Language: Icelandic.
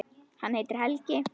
Hann heitir Helgi.